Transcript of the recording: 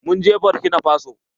Mun je bokinafaso.